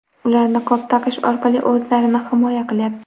Ular niqob taqish orqali o‘zlarini himoya qilyapti.